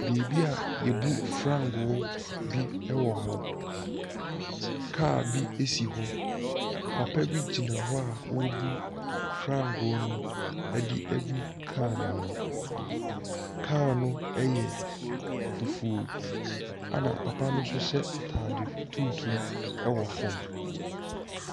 Beebi a yɛbu fangoo bi wɔ hɔ, kaa bi si hɔ. Papa bi gyina hɔ a ɔrebu fangoo no de agu kaa ne mu. Kaa no yɛ fufuo, na papa no nso hyɛ ataade tuntum wɔ fam.